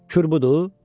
"Kür budur?"